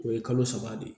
O ye kalo saba de ye